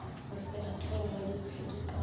go se atlege ga diphedipano